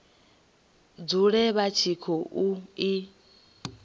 dzule vha tshi khou i